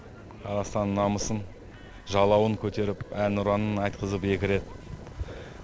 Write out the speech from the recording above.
қазақстанның намысын жалауын көтеріп әнұранын айтқызып екі рет